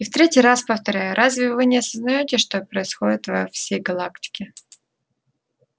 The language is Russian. и в третий раз повторяю разве вы не осознаете что происходит во всей галактике